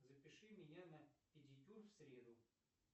запиши меня на педикюр в среду